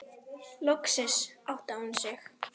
Loksins áttaði hún sig.